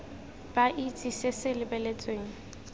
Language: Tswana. ba itse se se lebeletsweng